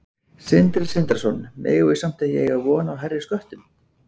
Sindri Sindrason: Megum við samt ekki eiga von á hærri sköttum?